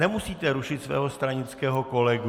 Nemusíte rušit svého stranického kolegu.